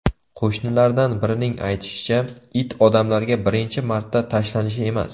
Qo‘shnilardan birining aytishicha, it odamlarga birinchi marta tashlanishi emas.